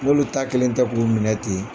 N'olu ta kelen tɛ k'u minɛ ten